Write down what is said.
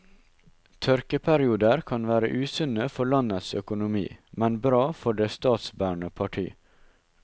Tørkeperioder kan være usunne for landets økonomi, men bra for det statsbærende parti.